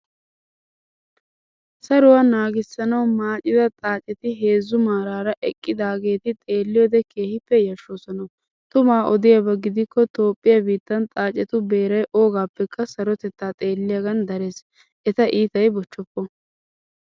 Saruwa naagisanawu maaccida xaaccetti heezzu maarara eqqidaageeti xeelliyode keehippe yashshoosonna. Tumaa odiyaabaa gidikko toophphiya biittan xaaccettu beeray ogaappekka sarotettaa xeelliyaagan darees. Eta iitay bochchoopo.